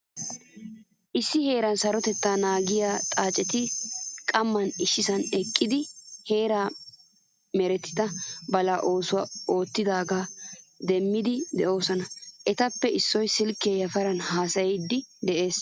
Issi heeraa sarotettaa naagisiya xaaccetti qaman issisan eqqidi heeran merettida balaa oosuwaa oottidaga dummayidi deosona. Etappe issoy silke yafaran haasayidi de'ees.